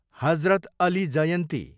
हजरत Ali जयन्ती